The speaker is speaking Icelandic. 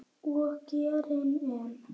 Og gerir enn.